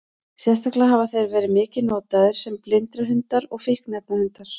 Sérstaklega hafa þeir verið mikið notaðir sem blindrahundar og fíkniefnahundar.